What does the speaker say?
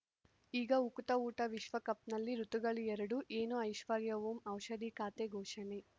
ಈಗ ಉಕುತ ಊಟ ವಿಶ್ವಕಪ್‌ನಲ್ಲಿ ಋತುಗಳು ಎರಡು ಏನು ಐಶ್ವರ್ಯಾ ಓಂ ಔಷಧಿ ಖಾತೆ ಘೋಷಣೆ